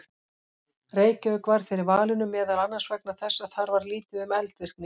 Reykjavík varð fyrir valinu meðal annars vegna þess að þar var lítið um eldvirkni.